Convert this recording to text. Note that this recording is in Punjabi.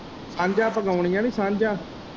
ਸਾਂਝਾ ਪੁਗਾਉਣੀਆਂ ਨੀ ਸਾਂਝਾ।